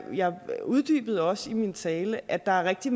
uddybede også i min tale at der er rigtig